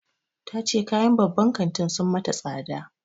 Ta ce kayan babban kantin sun mata tsada.